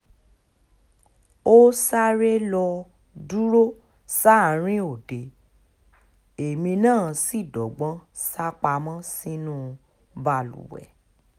ó sáré lọ́ọ́ dúró sáàrin òde èmi náà sì dọ́gbọ́n sá pamọ́ sínú balùwẹ̀